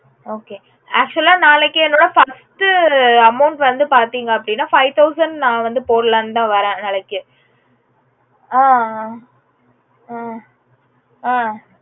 okay actual ஆ நாளைக்கு என்னோட first amount பதிங்க அப்புடின்னா five thousand போடலாம்னுதா வரேன் நாளைக்கு ஆஹ் அஹ் அஹ்